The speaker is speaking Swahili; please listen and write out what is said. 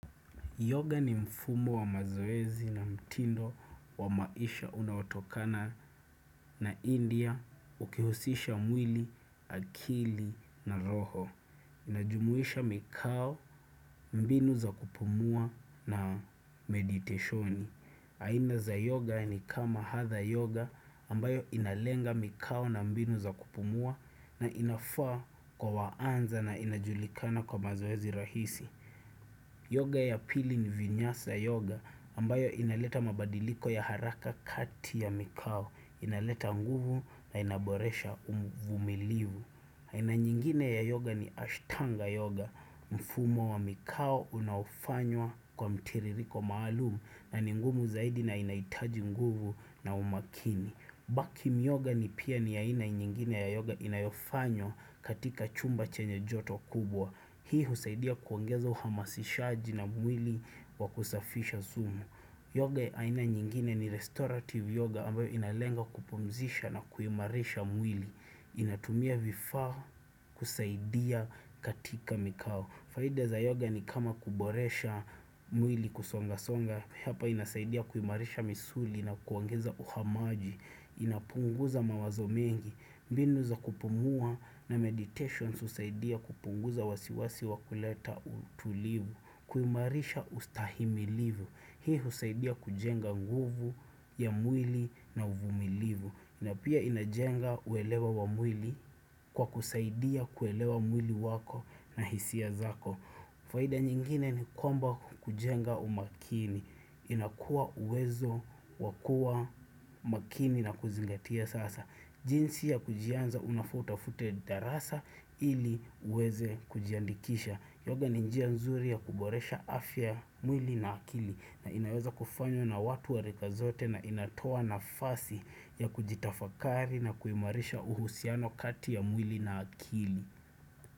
Yoga ni mfumo wa mazoezi na mtindo wa maisha unaotokana na india ukihusisha mwili, akili na roho. Inajumuisha mikau, mbinu za kupumua na mediteshoni. Aina za yoga ni kama hatha yoga ambayo inalenga mikau na mbinu za kupumua na inafaa kwa waanza na inajulikana kwa mazoezi rahisi. Yoga ya pili ni vinyasa yoga ambayo inaleta mabadiliko ya haraka kati ya mikau, inaleta nguvu na inaboresha umvumilivu. Haina nyingine ya yoga ni ashtanga yoga, mfumo wa mikao unaofanywa kwa mtiririko maalumu na ni ngumu zaidi na inahitaji nguvu na umakini. Bakim yoga ni pia ni aina nyingine ya yoga inayofanywa katika chumba chenye joto kubwa. Hii husaidia kuongeza uhamasishaji na mwili wa kusafisha sumu Yoga aina nyingine ni restorative yoga ambayo inalenga kupumzisha na kuimarisha mwili inatumia vifa kusaidia katika mikao. Faida za yoga ni kama kuboresha mwili kusonga songa Hapa inasaidia kuimarisha misuli na kuangeza uhamaji inapunguza mawazo mengi mbinu za kupumua na meditations husaidia kupunguza wasiwasi wa kuleta utulivu kuimarisha ustahimilivu Hii husaidia kujenga nguvu ya mwili na uvumilivu na pia inajenga uelewa wa mwili kwa kusaidia kuelewa mwili wako na hisia zako faida nyingine ni kwamba kujenga umakini inakuwa uwezo wa kuwa makini na kuzingatia sasa jinsi ya kujianza unafaa utafute darasa ili uweze kujiandikisha. Yoga ni njia nzuri ya kuboresha afya mwili na akili na inaweza kufanywa na watu wa rika zote na inatoa nafasi ya kujitafakari na kuhimarisha uhusiano kati ya mwili na akili.